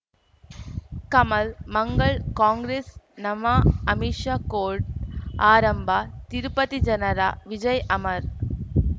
ಕಮಲ್ ಮಂಗಳ್ ಕಾಂಗ್ರೆಸ್ ನಮಃ ಅಮಿಷ ಕೋರ್ಟ್ ಆರಂಭ ತಿರುಪತಿ ಜನರ ವಿಜಯ್ ಅಮರ್